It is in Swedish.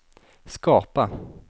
skapa